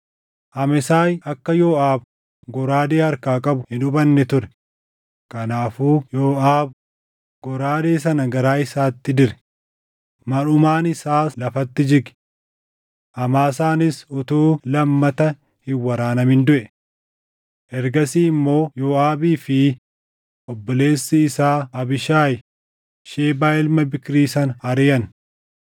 Amesaay akka Yooʼaab goraadee harkaa qabu hin hubanne ture; kanaafuu Yooʼaab goraadee sana garaa isaatti dire; marʼumaan isaas lafatti jige. Amaasaanis utuu lammata hin waraanamin duʼe. Ergasii immoo Yooʼaabii fi obboleessi isaa Abiishaayi Shebaa ilma Biikrii sana ariʼan.